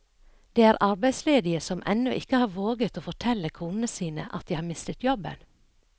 Det er arbeidsledige som ennå ikke har våget å fortelle konene sine at de har mistet jobben.